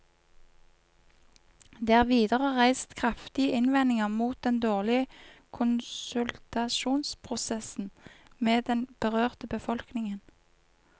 Det er videre reist kraftige innvendinger mot den dårlige konsultasjonsprosessen med den berørte befolkningen.